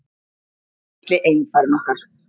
Litli einfarinn okkar.